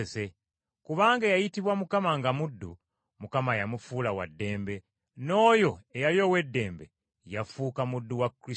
Kubanga eyayitibwa Mukama nga muddu, Mukama yamufuula wa ddembe, n’oyo eyali ow’eddembe yafuuka muddu wa Kristo.